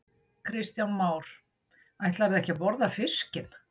Kristján Már: Ætlarðu ekki að borða fiskinn?